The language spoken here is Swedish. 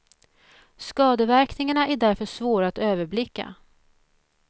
Skadeverkningarna är därför svåra att överblicka.